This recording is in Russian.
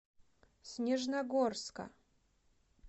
снежногорска